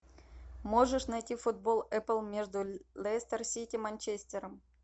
можешь найти футбол апл между лестер сити манчестером